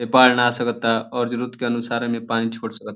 ए बाढ़ ना आ सकता और जरुरत के अनुसार एमे पानी छोड़ सकत --